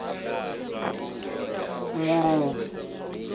nguluvhe